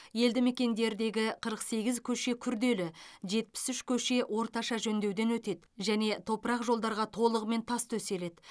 елді мекендердегі қырық сегіз көше күрделі жетпіс үш көше орташа жөндеуден өтеді және топырақ жолдарға толығымен тас төселеді